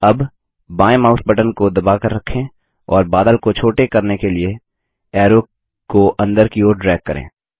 अब बाएँ mouse button को दबाकर रखें और बादल को छोटे करने के लिए एरो को अंदर की ओर ड्रैग करें